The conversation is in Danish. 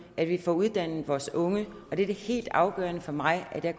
at vi får uddannet vores unge det er det helt afgørende for mig at jeg